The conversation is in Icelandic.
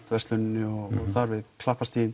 versluninni og þar við